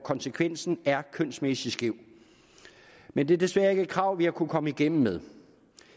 konsekvenser er kønsmæssigt skæve men det er desværre ikke et krav vi har kunnet komme igennem med